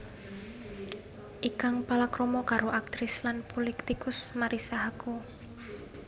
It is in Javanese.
Ikang palakrama karo aktris lan pulitikus Marissa Haque